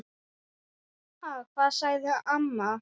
Ha, hvað? sagði amma.